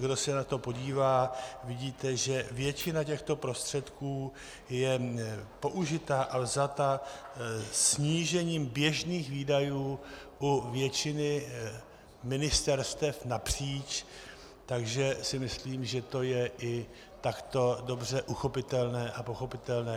Kdo se na to podívá, vidíte, že většina těchto prostředků je použita a vzata snížením běžných výdajů u většiny ministerstev napříč, takže si myslím, že to je i takto dobře uchopitelné a pochopitelné.